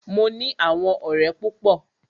Mo ní àwọn ọ̀rẹ́ púpọ.